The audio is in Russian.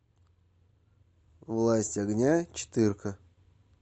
власть огня четырка